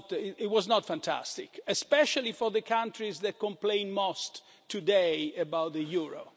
It was not fantastic, especially for the countries that complain most today about the euro